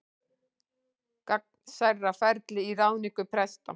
Gegnsærra ferli í ráðningu presta